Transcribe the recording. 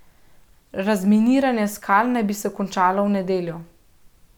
Razminiranje skal naj bi se končalo v nedeljo.